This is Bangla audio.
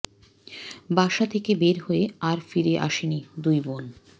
বাসা থেকে বের হয়ে আর ফিরে আসেনি দুই বোন